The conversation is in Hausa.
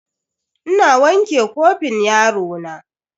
Ina wanke kofin yarona.